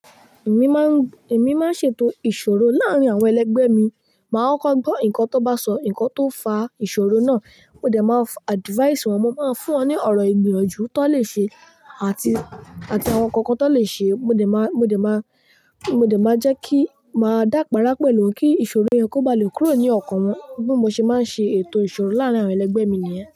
Èmi máa ń, èmi máa ń ṣètò ìṣòro láàrín àwọn ẹlẹgbẹ́ mi. Màá kọ́ gbọ́ nǹkan tó bá sọ, nǹkan tó fà ìṣòro náà. Mo dẹ̀ máa advice wọn, mo máa fún wọn ní ọ̀rọ̀ ìgbìyànjú tó lè ṣe àti, àti àwọn kankan tó lè ṣe. Mo dẹ̀ má, mo dẹ̀ má, mo dẹ̀ máa jẹ́ kí, màá dápará pẹ̀lú wọn kí ìṣòro yẹn kó ba lè kúrò ní ọkàn wọn. Bí mo ṣe máa ń ṣe ètò ìṣòro láàrín àwọn ẹlẹgbẹ́ mi nìyẹn.